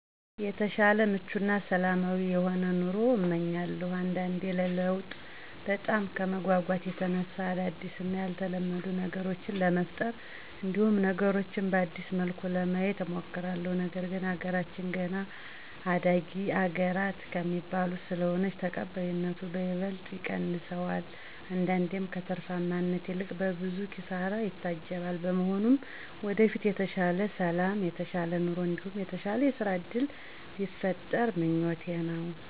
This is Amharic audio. የተሻለ ምቹ እና ሰላማዊ የሆነ ኑሮን እመኛለሁ። አንዳንዴ ለለውጥ በጣም ከመጎጎት የተነሳ አዳዲስ እና ያልተለመዱ ነገሮችን ለመፍጠር እንዲሁም ነገሮችን በአዲስ መልኩ ለማየት እሞክራለሁ፤ ነገር ግን አገራችን ገና አዳጊ አገራተ ከሚባሉት ስለሆነች ተቀባይነቱን በይበልጥ ይቀንሰዋል አንዳንዴም ከትርፋማነት ይልቅ በብዙ ኪሳራ ይታጀባል። በመሆኑም ወደፊት የተሻለ ሠላም የተሻለ ኑሮ እንዲሁም የተሻለ የስራ እድል ቢፈጠር ምኞቴ ነው።